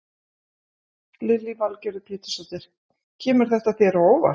Lillý Valgerður Pétursdóttir: Kemur þetta þér á óvart?